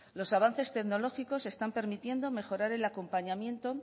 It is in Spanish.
los avances tecnológicos están permitiendo mejorar el acompañamiento